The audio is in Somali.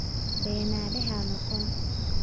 Beenaale ha noqon